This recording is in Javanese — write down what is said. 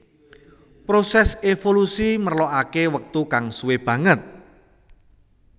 Prosès évolusi merlokaké wektu kang suwé banget